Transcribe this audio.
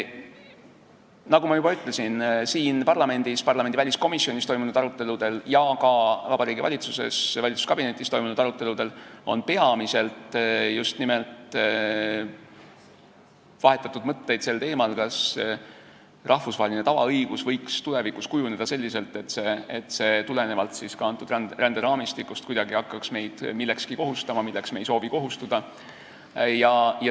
Nagu ma juba ütlesin, siin parlamendis väliskomisjonis toimunud aruteludel ja ka valitsuskabinetis toimunud aruteludel on peamiselt vahetatud mõtteid just nimelt sel teemal, kas rahvusvaheline tavaõigus võiks tulevikus kujuneda selliselt, et see tulenevalt ka antud ränderaamistikust hakkaks meid kuidagi kohustama millekski, mida me ei soovi teha.